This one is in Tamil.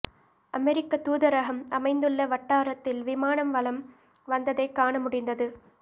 அமெரிக்கத் தூதரகம் அமைந்துள்ள வட்டாரத்தில் விமானம் வலம் வந்ததைக் காண முடிந்தது